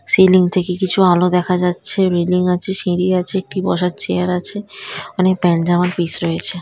Ceiling থেকে কিছু আলো দেখা যাচ্ছে | বিল্ডিং আছে সিঁড়ি আছে একটি বসার চেয়ার আছে | অনেক প্যান্ট জামার পিস রয়েছে।